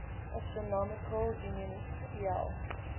astronomical union iau